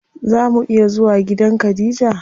Zaa mu iya zuwa gidan khadija?